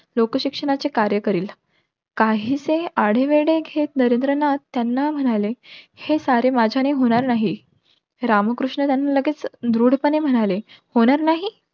लोकशिक्षणाचे कार्य करील. काहीसे आढेवेढे घेत नरेंद्र नाथ त्यांना म्हणाले. हे सारे माझ्याने होणार नाही. रामकृष्ण त्यांना लगेच दृढ पाने म्हणाले. होणार नाही?